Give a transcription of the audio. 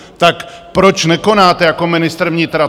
Tak proč nekonáte jako ministr vnitra?